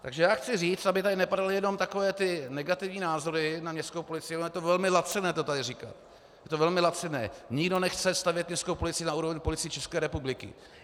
Takže já chci říct, aby tady nepadaly jenom takové ty negativní názory na městskou policii, ono je to velmi laciné to tady říkat, je to velmi laciné, nikdo nechce stavět městskou policii na úroveň Policie České republiky.